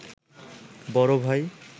বড় ভাই